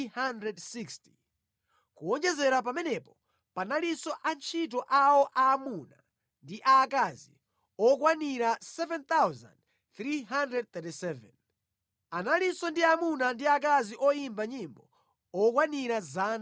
kuwonjezera pamenepo, panalinso antchito awo aamuna ndi aakazi okwanira 7,337. Analinso ndi amuna ndi akazi oyimba nyimbo okwanira 200.